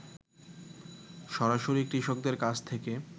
সরাসরি কৃষকদের কাছ থেকে